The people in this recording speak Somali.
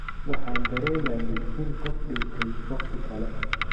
Waxaan dareemayay in qof dhintay wakhti kale.